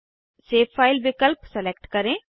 save file विकल्प select करें